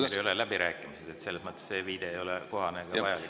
Need ei ole läbirääkimised, selles mõttes ei ole see viide kohane ega vajalik.